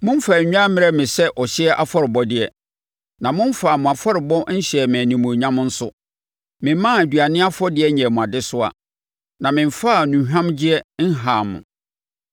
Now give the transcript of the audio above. Momfaa nnwan mmrɛɛ me sɛ ɔhyeɛ afɔrebɔdeɛ, na momfaa mo afɔrebɔ nhyɛɛ me animuonyam nso. Memmaa aduane afɔdeɛ nyɛɛ mo adesoa na memfaa nnuhwamgyeɛ nhaa mo.